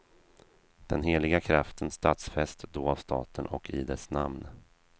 Den heliga kraften stadfästs då av staten och i dess namn.